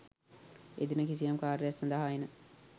එදින කිසියම් කාර්යයක් සඳහා එන